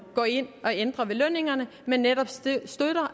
går ind og ændrer ved lønningerne men netop støtter